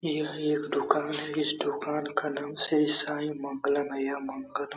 यह एक दुकान है इस दुकान का नाम श्री साईं मंगल मैया मंगलम --